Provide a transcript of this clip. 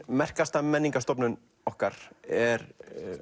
merkasta menningarstofnun okkar er